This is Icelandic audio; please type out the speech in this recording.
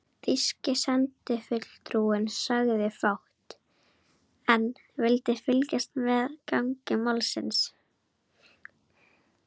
Þýski sendifulltrúinn sagði fátt, en vildi fylgjast með gangi málsins.